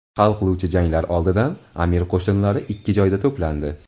Hal qiluvchi janglar oldidan amir qo‘shinlari ikki joyda to‘plandi.